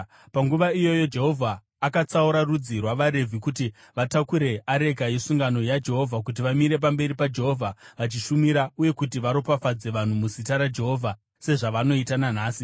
Panguva iyoyo Jehovha akatsaura rudzi rwavaRevhi kuti vatakure areka yesungano yaJehovha, kuti vamire pamberi paJehovha vachishumira, uye kuti varopafadze vanhu muzita raJehovha, sezvavanoita nanhasi.